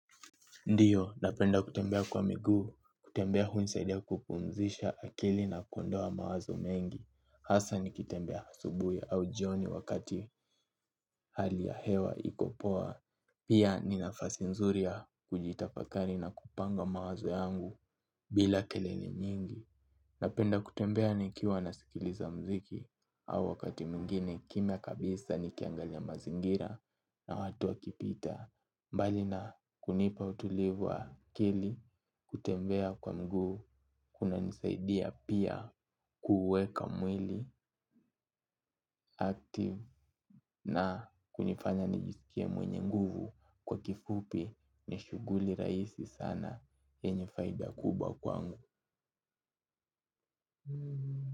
Ndiyo, napenda kutembea kwa miguu, kutembea hunisaidia kupumzisha akili na kuondoa mawazo mengi. Hasa nikitembea asubuhi au jioni wakati hali ya hewa iko poa. Pia, ni nafasi nzuri ya kujitafakari na kupanga mawazo yangu bila kelele nyingi. Napenda kutembea nikiwa nasikiliza mziki au wakati mwingine kimya kabisa nikiangalia mazingira na watu wakipita. Mbali na kunipa utulivu wa akili kutembea kwa miguu kuna nisaidia pia kuuweka mwili active na kunifanya nijisikie mwenye nguvu kwa kifupi ni shughuli rahisi sana yenye faida kubwa kwangu.